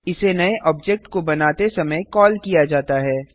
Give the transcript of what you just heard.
इसे नए ऑब्जेक्ट को बनाते समय कॉल किया जाता है